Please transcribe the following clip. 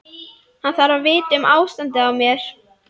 Hann þarf að vita um ástandið á mér.